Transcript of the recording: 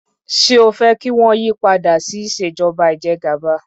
Ṣé o fẹ́ kí wọ́n yí padà sí ìṣèjọba ìjẹgàba?